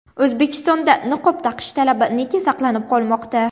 O‘zbekistonda niqob taqish talabi nega saqlanib qolmoqda?